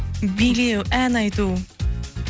билеу ән айту